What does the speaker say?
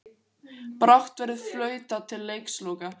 Brátt verður flautað til leiksloka